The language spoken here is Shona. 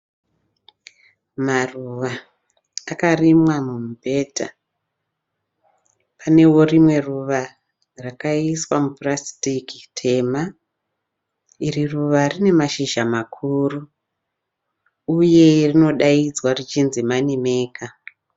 Maruva akarimwa mumubhedha. Panewo rimwe ruva rakaiswa mupurasitiki tema. Iri ruva rine mashizha makuru uye rinodaidzwa richinzi Money maker.